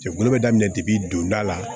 Jɛkulu bɛ daminɛ debi donda la